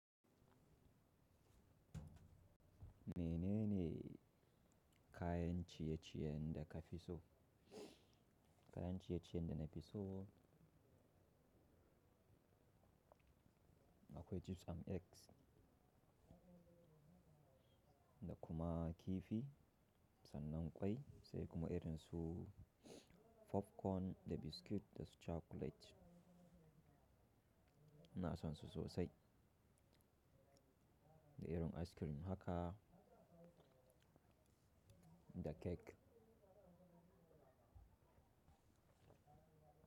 Menene kayan ciye-ciyen da ka fi so? Kayan ciye-ciye da na fi so akwai chips and eggs da kuma kifi sannan kwai sai kuma irin su popcorn da biscuit da su chocolate. Ina son su sosai. Da irin ice cream haka da cake.